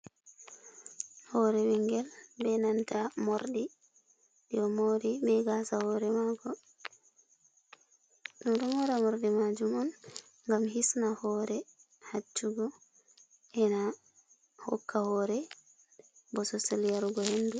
Hore ɓingel be nanta morɗi, ɓeɗo mori be gasa hore mako, ɗo mora morɗi majum on ngam hisna hore haccugo, ena hokka hore bososal yarugo hendu.